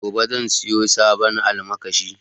Gobe zan siya sabon almakashi